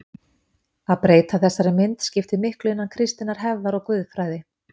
Að breyta þessari mynd skiptir miklu innan kristinnar hefðar og guðfræði.